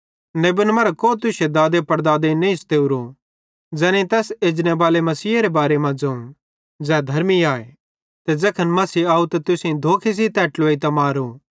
नेबन मरां को तुश्शे दादेपड़दादेईं नईं स्तेवरो ज़ैनेईं तैस एजनेबाले मसीहेरे बारे मां ज़ोवं ज़ै धर्मी आए ते ज़ैखन मसीह आव ते तुसेईं धोखे सेइं तै ट्लुवेइतां मारो